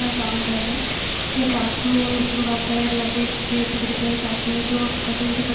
काम कर रहा है एक आदमी है नीचे बहुत सारे लकड़ी टुकड़े प एक आदमी है जो लकड़ी को सा--